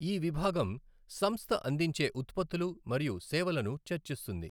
ఈ విభాగం సంస్థ అందించే ఉత్పత్తులు మరియు సేవలను చర్చిస్తుంది.